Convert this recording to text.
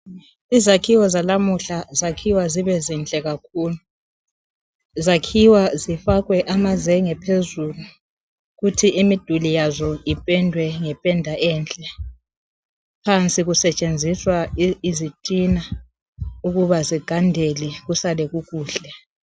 izakhiwo zalamuhla zakhiwa zibe zinhle kakhulu zakhiwa zifakwe amazenge phezulu kuthi imidul yazo ipendwe ngependa enhle phansi kusetshenziswa izitina ukuba zigandele kusale kukuhle